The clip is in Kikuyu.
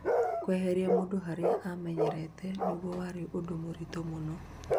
kweheria mũndũ haria amenyerete nĩgũo warĩ ũndũ mũritu mũno